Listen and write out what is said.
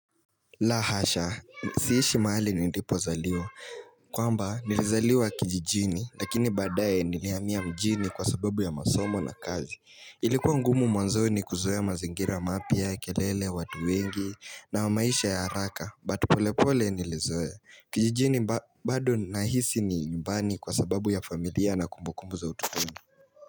La hasha, siishi mahali nilipozaliwa, kwamba nilizaliwa kijijini lakini badaye nilihamia mjini kwa sababu ya masomo na kazi Ilikuwa ngumu mwanzoni kuzoea mazingira mapya, kelele, watu wengi na maisha ya haraka But pole pole nilizoea kijijini bado nahisi ni nyumbani kwa sababu ya familia na kumbukumbu za utotoni.